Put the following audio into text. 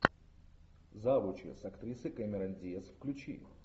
завучи с актрисой кэмерон диаз включи